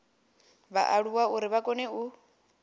vhaaluwa uri vha kone u